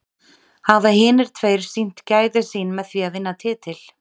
Hafa hinir tveir sýnt gæði sín með því að vinna titil?